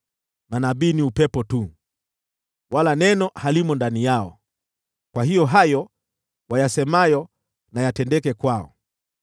Manabii ni upepo tu, wala neno halimo ndani yao, kwa hiyo hayo wayasemayo na yatendeke kwao.”